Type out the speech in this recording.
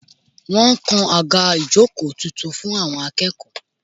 Wọ́n ń kan àga ìjókòó tuntun fún àwọn akẹ́kọ̀ọ́